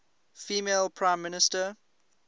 female prime minister